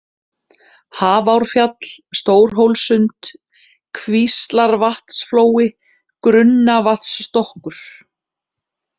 Hafrárfjall, Stórhólssund, Kvíslarvatnsflói, Grunnavatnsstokkur